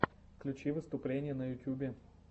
включи выступления на ютюбе